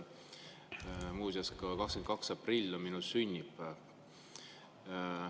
Muuseas, 22. aprill on ka minu sünnipäev.